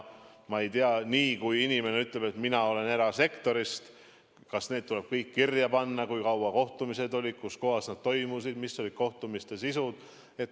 Ma ei tea, kas nii kui inimene ütleb, et ta on erasektorist, tuleb kõik kirja panna, kui pikad kohtumised olid, kus kohas need toimusid, mis oli kohtumiste sisu.